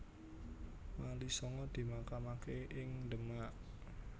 Wali Sanga dimakamake ning Demak